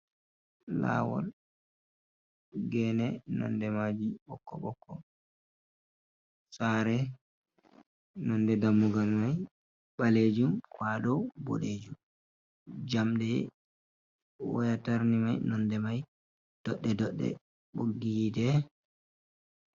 Laawol geene nonnde maaji ɓokko- ɓokko. Saare, nonnde dammugal may ɓaleejum kwaaɗaw boɗeejum, jamɗe waya tarni may nonnde may doɗɗe -doɗɗe ɓoggi yiite.